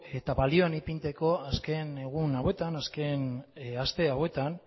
eta balioan ipintzeko azken egun hauetan azken aste hauetan